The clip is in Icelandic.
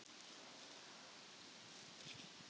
Mér leist alveg prýðilega á starfið.